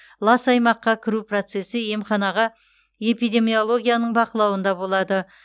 лас аймаққа кіру процесі емханаға эпидемиологының бақылауында болады